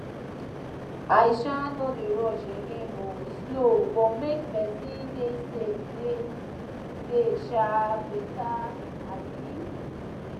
i um no dey rush again o slow but make person dey safe dey um better um